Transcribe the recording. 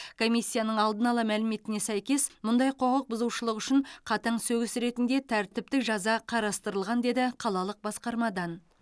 комиссияның алдын ала мәліметіне сәйкес мұндай құқық бұзушылық үшін қатаң сөгіс ретінде тәртіптік жаза қарастырылған деді қалалық басқармадан